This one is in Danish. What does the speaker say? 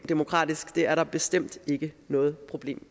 demokratisk det er der bestemt ikke noget problem